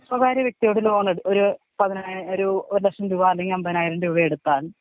സ്വകാര്യ വ്യക്തിയോട് ലോൺ എട് ഒരു പതിനാ ഒരു ലക്ഷം രൂപ അല്ലെങ്കി അമ്പതിനായിരം രൂപ എടുത്താൽ.